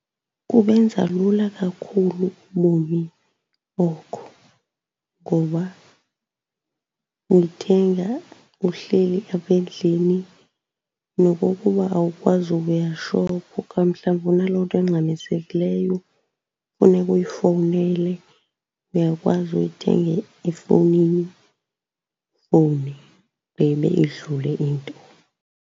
Kubenza lula kakhulu ubomi oko, ngoba uyithenga uhleli apha endlini. Nokokuba awukwazi ukuya shop, xa mhlawumbi unaloo nto ingxamisekileyo funeka uyifowunele, uyakwazi uyithenga efowunini ufowune ugqibe, idlule into.